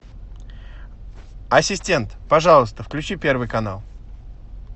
ассистент пожалуйста включи первый канал